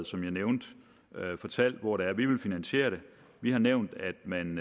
som jeg nævnte fortalt hvordan vi vil finansiere det vi har nævnt at man